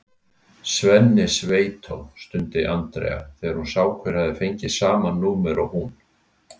Svenni sveitó! stundi Andrea þegar hún sá hver hafði fengið sama númer og hún.